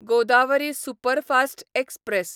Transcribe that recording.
Godavari superfast express